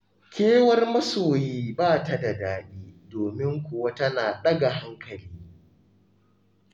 Kewar masoyi ba ta da daɗi, domin kuwa tana ɗaga hankali.